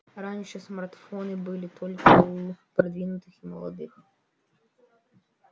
раньше смартфоны были только у продвинутых и молодых